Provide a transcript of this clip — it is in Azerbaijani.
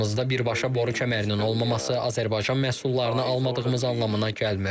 Aramızda birbaşa boru kəmərinin olmaması Azərbaycan məhsullarını almadığımız anlamına gəlmir.